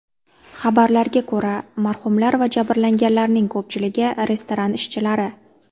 Xabarlarga ko‘ra, marhumlar va jabrlanganlarning ko‘pchiligi restoran ishchilari.